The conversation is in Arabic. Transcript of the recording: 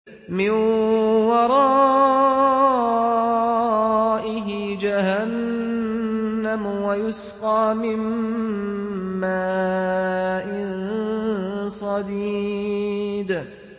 مِّن وَرَائِهِ جَهَنَّمُ وَيُسْقَىٰ مِن مَّاءٍ صَدِيدٍ